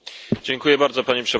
Panie Przewodniczący!